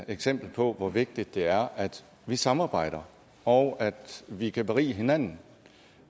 eksempel på hvor vigtigt det er at vi samarbejder og at vi kan berige hinanden